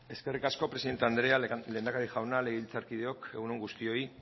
eskerrik asko presidente andrea lehendakari jauna legebiltzarkideok egun on guztioi